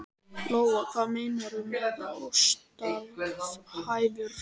Lóa: Hvað meinarðu með óstarfhæfur?